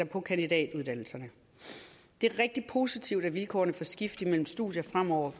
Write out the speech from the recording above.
på kandidatuddannelserne det er rigtig positivt at vilkårene for skift imellem studier fremover